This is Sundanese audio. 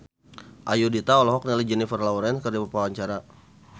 Ayudhita olohok ningali Jennifer Lawrence keur diwawancara